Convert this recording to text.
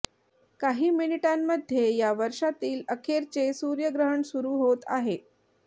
काही मिनिटांमध्ये या वर्षातील अखेरचे सूर्यग्रहण सुरू होत आहे